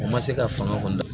U ma se ka fanga kɔni